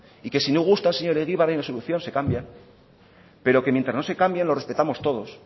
y que si no gusta señor egibar hay una solución se cambian pero que mientras no se cambien los respetamos todos